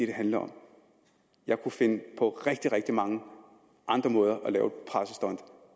det handler om jeg kunne finde på rigtig mange andre måder at lave